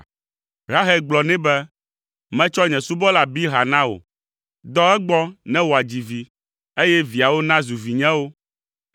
Rahel gblɔ nɛ be, “Metsɔ nye subɔla Bilha na wò, dɔ egbɔ ne wòadzi vi, eye viawo nazu vinyewo.”